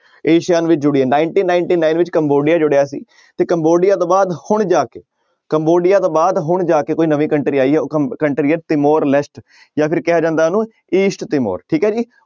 Asia ਵਿੱਚ ਜੁੜੀ ਹੈ ninety-ninety-nine ਵਿੱਚ ਕੰਬੋਡੀਆ ਜੁੜਿਆ ਸੀ ਤੇ ਕੰਬੋਡੀਆ ਤੋਂ ਬਾਅਦ ਹੁਣ ਜਾ ਕੇ ਕੰਬੋਡੀਆ ਤੋਂ ਬਾਅਦ ਹੁਣ ਜਾ ਕੇ ਕੋਈ ਨਵੀਂ country ਆਈ ਹੈ ਕੰ~ country ਹੈ ਜਾਂ ਫਿਰ ਕਿਹਾ ਜਾਂਦਾ ਉਹਨੂੰ east ਠੀਕ ਹੈ ਜੀ।